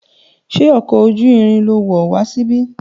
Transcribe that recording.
Ṣé ọkọ̀ ojú irin lo wọ̀ wá síbí?